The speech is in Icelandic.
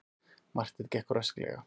Marteinn gekk rösklega.